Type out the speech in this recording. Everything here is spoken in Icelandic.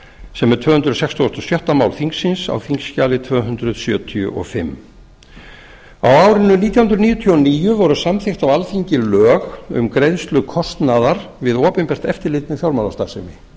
sem er tvö hundruð sextugustu og sjötta mál þingsins á þingskjali tvö hundruð sjötíu og fimm á árinu nítján hundruð níutíu og níu voru samþykkt á alþingi lög um greiðslu kostnaðar um opinbert eftirlit með fjármálastarfsemi